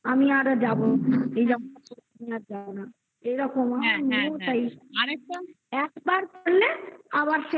আমি আরো যাবো তুমি আর যাও না. এরকম একবার করলে আবার